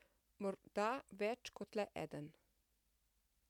Morda več kot le eden.